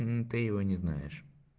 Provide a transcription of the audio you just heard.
мм ты его не знаешь